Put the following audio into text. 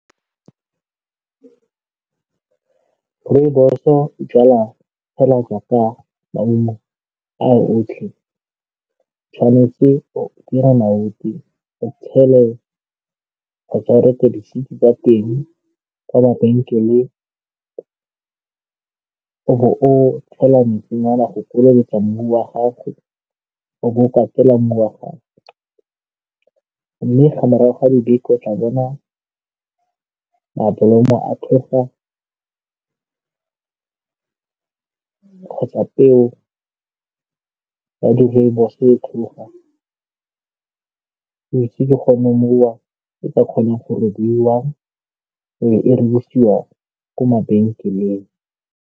Rooibos-o jalwa fela jaaka maungo a otlhe. Tshwanetse o o tshele kgotsa o reke di-seed tsa teng kwa mabenkeleng, o bo o tshela metsinyana go feleletsa mmu wa gago, o bo katela mmu wa gago, mme ga morago ga dibeke, o tla bona mablomo a tlhoga kgotsa peo ya di-Rooibos e tlhoga, ke gone moo e ka kgonang go robiwa e be e ko mabenkeleng.